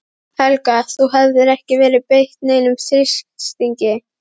Helga: Þú hefur ekki verið beitt neinum þrýstingi?